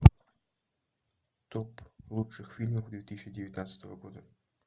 топ лучших фильмов две тысячи девятнадцатого года